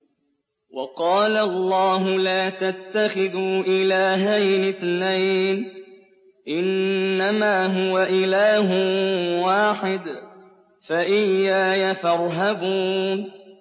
۞ وَقَالَ اللَّهُ لَا تَتَّخِذُوا إِلَٰهَيْنِ اثْنَيْنِ ۖ إِنَّمَا هُوَ إِلَٰهٌ وَاحِدٌ ۖ فَإِيَّايَ فَارْهَبُونِ